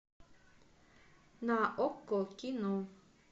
на окко кино